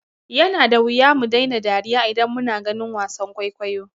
Yana da wuya mu daina dariya idan muna ganin wasan kwaikwayo.